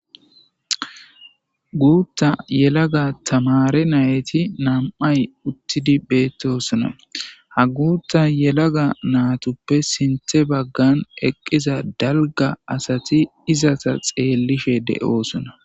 Guutta yelaga tamare nayyti nam,ay uttidi beettosona ha guutta yelaga naatuppe sinthe baggan eqqiza dalga asati izata xeellishe de,oosona.